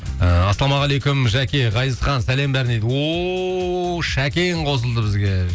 ыыы ассалаумағалейкум жәке ғазизхан сәлем бәріне дейді ооо шәкен қосылды бізге